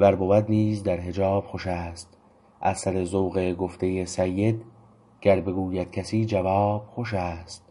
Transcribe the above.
ور بود نیز در حجاب خوش است از سر ذوق گفته سید گر بگوید کسی جواب خوش است